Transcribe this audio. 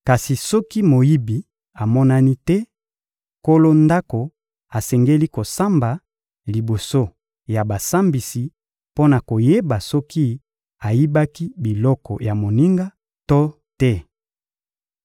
Kasi soki moyibi amonani te, nkolo ndako asengeli kosamba liboso ya basambisi mpo na koyeba soki ayibaki biloko ya moninga na ye to te.